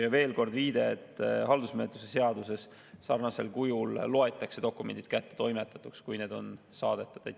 Ja veel kord viide, et ka haldusmenetluse seaduse järgi loetakse dokumendid samamoodi kättetoimetatuks, kui need on saadetud.